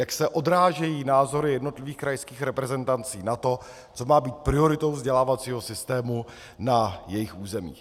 Jak se odrážejí názory jednotlivých krajských reprezentací na to, co má být prioritou vzdělávacího systému na jejich území.